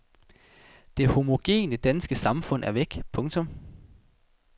Det homogene danske samfund er væk. punktum